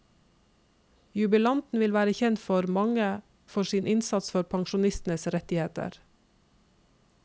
Jubilanten vil være kjent for mange for sin innsats for pensjonistenes rettigheter.